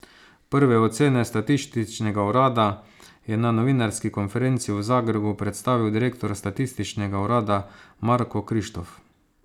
Prve ocene statističnega urada je na novinarski konferenci v Zagrebu predstavil direktor statističnega urada Marko Krištof.